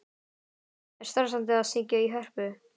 Er stressandi að syngja í Hörpu?